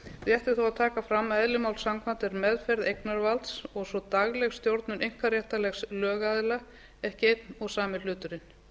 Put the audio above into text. þó að taka fram að eðli máls samkvæmt er meðferð eignarvalds og svo dagleg stjórnun einkaréttarlegs lögaðila ekki einn og sami hluturinn